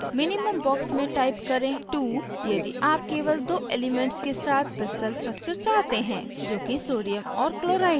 minimum box में type करें 2 यदि आप केवल दो elements के साथ crystal structure चाहते हैं जोकि sodium और chloride है